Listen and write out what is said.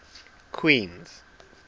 queens